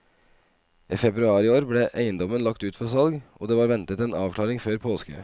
I februar i år ble eiendommen lagt ut for salg, og det var ventet en avklaring før påske.